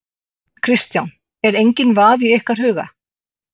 Kristján: Og enginn vafi í ykkar huga?